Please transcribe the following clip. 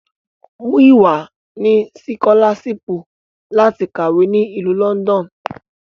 Muyiwa ni sikolaṣipu lati kawe ni Ilu Lọndọnu